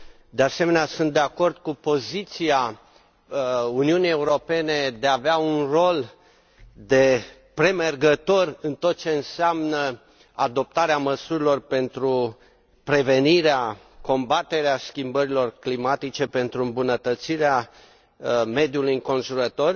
De asemenea, sunt de acord cu poziția Uniunii Europene de a avea un rol de premergător în tot ce înseamnă adoptarea măsurilor pentru prevenirea, combaterea schimbărilor climatice, pentru îmbunătățirea mediului înconjurător.